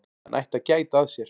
Hann ætti að gæta að sér.